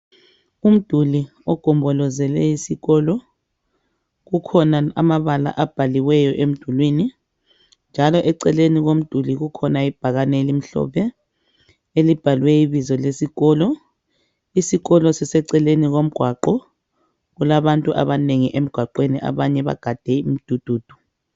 Umduli ogombolozele isikolo, kukhona amabala abhaliweyo emdulwini, njalo eceleni komduli kukhona ibhakane elimhlophe elibhalwe ibizo lesikolo. Isikolo siseceleni komgwaqo, kulabantu abanengi emgwaqweni abanye bagade imdududu.